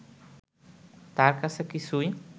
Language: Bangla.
তার কাছে কিছুই